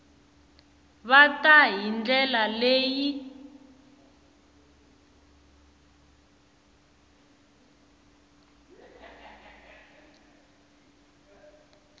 ta va hi ndlela leyi